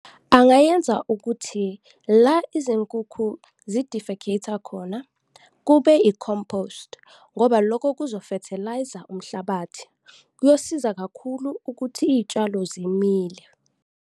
Angayenza ukuthi la izinkukhu zi-defecate-a khona, kube i-compost ngoba loko kuzo-fertilise-a umhlabathi, kuyosiza kakhulu ukuthi iy'tshalo zimile.